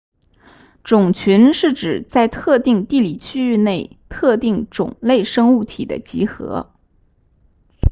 种群是指在特定地理区域内特定种类生物体的集合